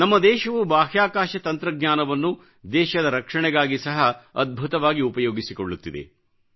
ನಮ್ಮ ದೇಶವು ಬಾಹ್ಯಾಕಾಶ ತಂತ್ರಜ್ಞಾನವನ್ನು ದೇಶದ ರಕ್ಷಣೆಗಾಗಿ ಸಹ ಅದ್ಭುತವಾಗಿ ಉಪಯೋಗಿಸಿಕೊಳ್ಳುತ್ತಿದೆ